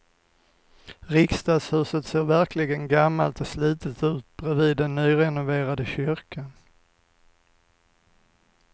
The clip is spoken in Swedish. Riksdagshuset ser verkligen gammalt och slitet ut bredvid den nyrenoverade kyrkan.